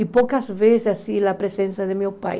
E poucas vezes, assim, a presença de meu pai.